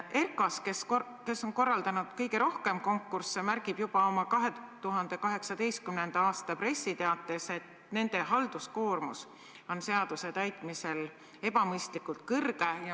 ERKAS, kes on korraldanud kõige rohkem konkursse, märgib juba oma 2018. aasta pressiteates, et nende halduskoormus on seaduse täitmisel ebamõistlikult suur.